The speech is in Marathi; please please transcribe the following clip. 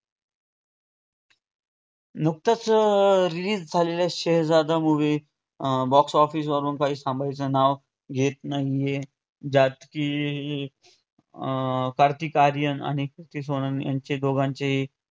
नुकतच अं release झालेल्या शहेजादा movie अं box office वरून काही थांबायचे नावं घेत नाही ज्यात कि अं कार्तिक आर्यन आणि क्रीती सेनन यांचे दोघांचेही